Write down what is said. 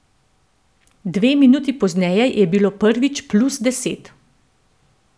Dve minuti pozneje je bilo prvič plus deset.